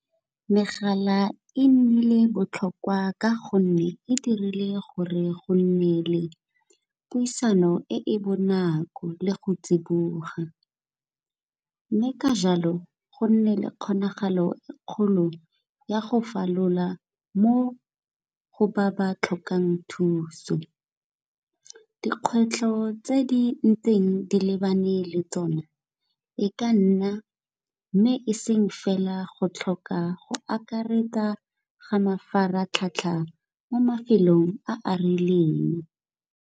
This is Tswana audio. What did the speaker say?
Megala e nnile botlhokwa ka gonne e dirile gore go nne le puisano e e bonako le go tsiboga, mme ka jalo go nne le kgonagalo e kgolo ya go falola mo go ba ba tlhokang thuso. Dikgwetlho tse di ntseng di lebane le tsona e ka nna, mme e seng fela go tlhoka go akaretsa ga mafaratlhatlha mo mafelong a a rileng.